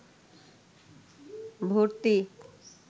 ভর্তি